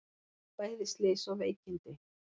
Bæði slys og veikindi